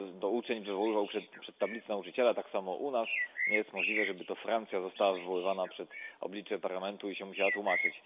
uczeń wywoływał przed tablicę nauczyciela, tak samo u nas nie jest możliwe, żeby to Francja była wywoływana przed oblicze Parlamentu i się musiała tłumaczyć.